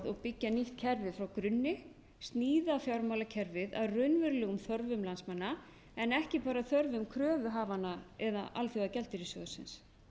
og byggja nýtt kerfi frá grunni sníða fjármálakerfið að raunverulegum þörfum landsmanna en ekki bara þörfum kröfuhafanna eða alþjóðagjaldeyrissjóðsins